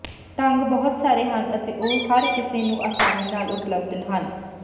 ਢੰਗ ਬਹੁਤ ਸਾਰੇ ਹਨ ਅਤੇ ਉਹ ਹਰ ਕਿਸੇ ਨੂੰ ਆਸਾਨੀ ਨਾਲ ਉਪਲੱਬਧ ਹਨ